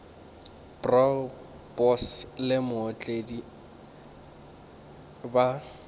bro boss le mootledi ba